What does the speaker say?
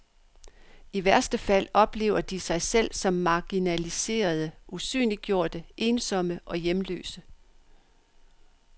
I værste fald oplever de sig selv som marginaliserede, usynliggjorte, ensomme og hjemløse.